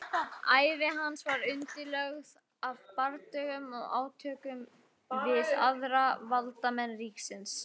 ævi hans var undirlögð af bardögum og átökum við aðra valdamenn ríkisins